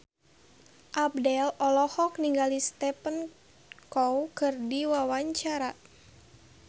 Abdel olohok ningali Stephen Chow keur diwawancara